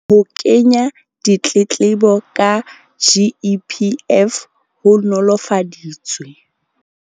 Ho kenya ditletlebo ka GEPF ho nolofaditswe.